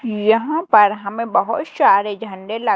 यहां पर हमें बहुत शारे झंडे लग--